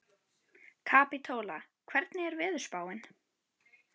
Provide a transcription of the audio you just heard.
Kapítóla, hvernig er veðurspáin?